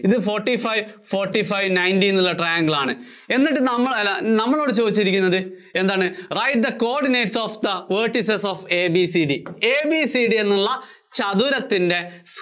ഇത് forty five, forty five ninety എന്നുള്ള triangle ആണ്. എന്നിട്ട് നമ്മള്‍ അല്ല, നമ്മളോട് ചോദിച്ചിരിക്കുന്നത് എന്താണ്, write the coordinates of the vertices of ABCD. ABCD എന്നുള്ള ചതുരത്തിന്‍റെ